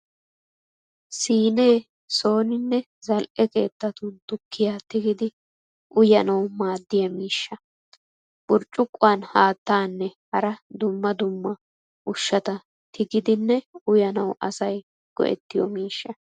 Siinee sooninne zal'e keettatun tukkiya tigidi uyanawu maaddiya miishsha. Burccuquwaan haattaanne hara dumma dumma ushshata tigidinne uyanawu asay go'ettiyo miishsha.